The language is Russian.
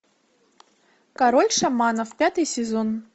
король шаманов пятый сезон